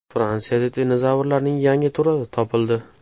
Fransiyada dinozavrlarning yangi turi topildi.